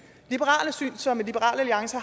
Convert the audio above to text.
som liberal alliance